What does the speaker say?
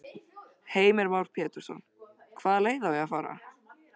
Heimir Már Pétursson: Hvaða leið á að fara?